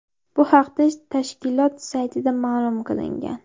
Bu haqda tashkilot saytida ma’lum qilingan .